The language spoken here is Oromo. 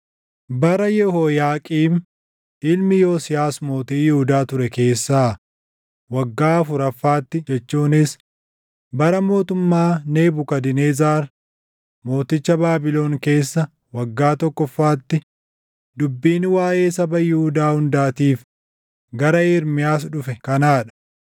Bara Yehooyaaqiim ilmi Yosiyaas mootii Yihuudaa ture keessaa waggaa afuraffaatti jechuunis bara mootummaa Nebukadnezar mooticha Baabilon keessa waggaa tokkoffaatti dubbiin waaʼee saba Yihuudaa hundaatiif gara Ermiyaas dhufe kanaa dha.